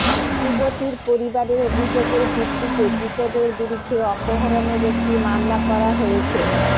যুবতীর পরিবারের অভিযোগের ভিত্তিতে ধৃতদের বিরুদ্ধে অপহরণের একটি মামলা করা হয়েছ